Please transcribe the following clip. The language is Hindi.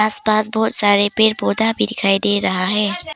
आस पास बहुत सारे पेड़ पौधा भी दिखाई दे रहा है।